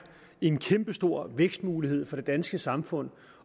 en kæmpestor vækstmulighed for det danske samfund